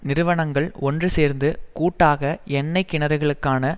நிறுவனங்கள் ஒன்றுசேர்ந்து கூட்டாக எண்ணெய் கிணறுகளுக்கான